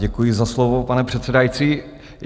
Děkuji za slovo, pane předsedající.